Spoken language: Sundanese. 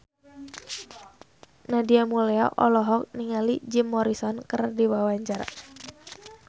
Nadia Mulya olohok ningali Jim Morrison keur diwawancara